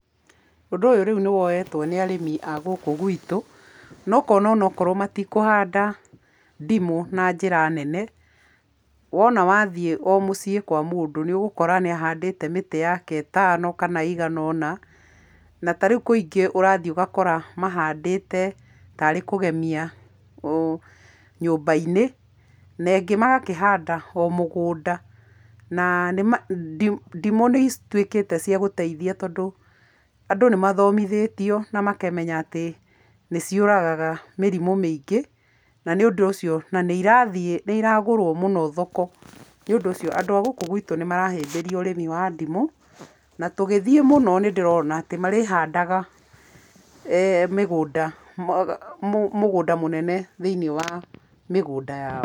Ũndũ ũyũ rĩu nĩ woyetwo nĩ arĩmi a gũkũ gwitũ, na ũkona ona ũkorwo matikũhanda ndimũ na njĩra nene, wona wathiĩ o mũciĩ kwa mũndũ, nĩũgũkora nĩ ahandĩte mĩtĩ yake ĩtano, kana ĩigana ũna, na ta rĩu kũingĩ ũrathiĩ ũgakora mahandĩte tarĩ kũgemia ũ nyũmba-inĩ, na ĩngĩ magakĩhanda o mũgũnda, na ndimũ nĩcituĩkĩte cia gũteithia tondũ, andũ nĩ mathomithĩtio na makamenya atĩ, nĩciũragaga mĩrimũ mĩingi, na nĩ ũndũ ũcio, na nĩ irathiĩ, nĩiragũrwo mũno thoko, nĩũndũ ũcio, andũ a gũkũ gwĩtũ nĩ marahĩmbĩria ũrĩmi wa ndimũ, na tũgĩthiĩ mũno nĩ ndĩrona atĩ marĩhandaga mĩgũnda mũgũnda mũnene thĩiniĩ wa mĩgũnda yao